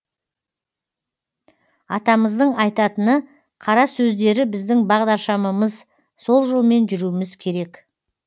атамыздың айтатыны қара сөздері біздің бағдаршамымыз сол жолмен жүруіміз керек